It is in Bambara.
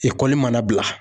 mana bila